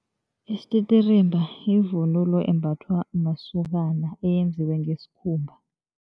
Isititirimba yivunulo embathwa masokana eyenziwe ngesikhumba.